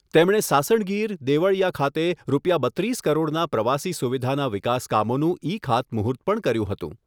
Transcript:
તેમણે સાસણ ગીર દેવળિયા ખાતે રૂપિયા બત્રીસ કરોડના પ્રવાસી સુવિધાના વિકાસકામોનું ઇ-ખાતમુહૂર્ત પણ કર્યું હતું.